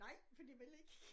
Nej fordi jeg vil ikke